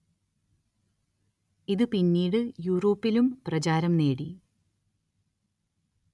ഇതു പിന്നീടു യൂറോപ്പിലും പ്രചാരം നേടി